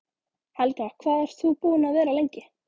Helga: Hvað ert þú búinn að vera lengi?